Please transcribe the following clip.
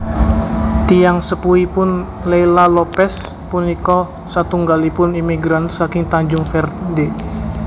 Tiyang sepuhipun Leila Lopes punika satunggalipun imigran saking Tanjung Verde